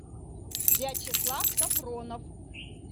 вячеслав сафронов